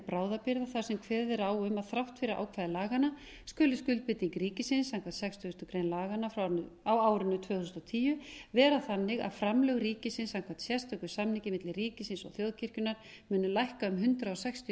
bráðabirgða þar sem kveðið er á um að þrátt fyrir ákvæði laganna skuldi skuldbinding ríkisins samkvæmt sextugasta grein laganna á árinu tvö þúsund og tíu vera þannig að framlög ríkisins samkvæmt sérstökum samningi milli ríkisins og þjóðkirkjunnar muni lækka um hundrað sextíu